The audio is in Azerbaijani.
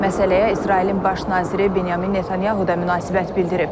Məsələyə İsrailin baş naziri Benyamin Netanyahu da münasibət bildirib.